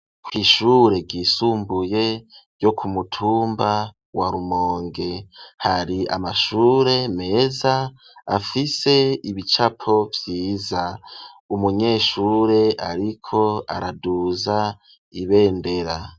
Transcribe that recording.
Kw'ishure ryisumbuye ryo ku mutumba wa Rumonge, hari amashure meza afise ibicapo vyiza. Umunyeshure ariko araduza ibendera.